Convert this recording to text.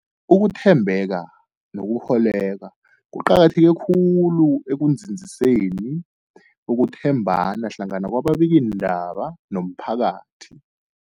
Ukuthembeka nokukholweka kuqakatheke khulu ekunzinziseni ukuthembana hlangana kwababikiindaba nomphakathi.